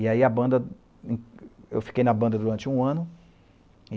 E aí a banda... eu fiquei na banda durante um ano.